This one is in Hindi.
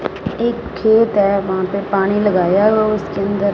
एक खेत है वहां पे पानी लगाया है उसके अंदर --